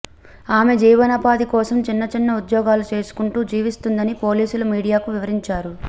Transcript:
ఆమె జీవనోపాధి కోసం చిన్న చిన్న ఉద్యోగాలు చేసుకుంటూ జీవిస్తుందని పోలీసులు మీడియాకు వివరించారు